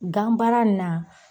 Gan baara ni na